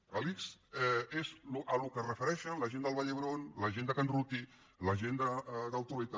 l’ics és al que es refereixen la gent de la vall d’hebron la gent de can ruti la gent del trueta